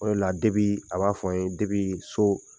O la la debi a b'a fɔ an ye debi so